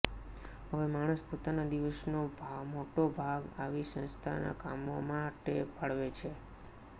હવે માણસ પોતાના દિવસનો મોટો ભાગ આવી સંસ્થાના કામો માટે ફાળવે છે